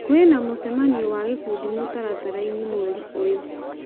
kwĩ na mũcemanio wa gĩkundi mũtaratara-inĩ mweri ũyũ